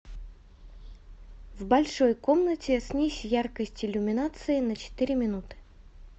в большой комнате снизь яркость иллюминации на четыре минуты